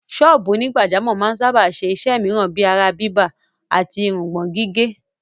Sọ́ọ̀bù onígbàjámọ̀ máa ń sáábà ṣe iṣẹ́ mìíràn bíi ara-bíbà àti irùngbọ̀n-gígé.